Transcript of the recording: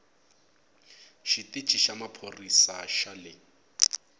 xitici xa maphorisa xa le